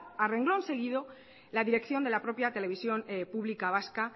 a renglón seguido la dirección de la propia televisión pública vasca